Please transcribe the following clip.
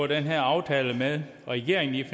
den her aftale med regeringen i